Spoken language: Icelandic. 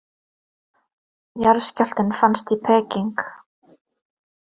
Jarðskjálftinn fannst í Peking